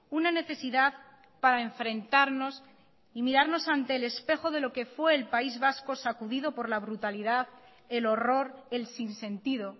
una necesidad para enfrentarnos y mirarnos ante el espejo de lo que fue el país vasco sacudido por la brutalidad el horror el sinsentido